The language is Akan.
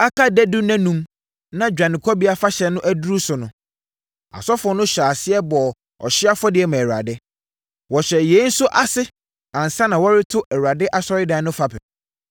Aka dadu nnanum na Dwanekɔbea Afahyɛ no aduru so no, asɔfoɔ no hyɛɛ aseɛ bɔɔ ɔhyeɛ afɔdeɛ maa Awurade. Wɔhyɛɛ yei nso ase ansa na wɔreto Awurade asɔredan no fapem.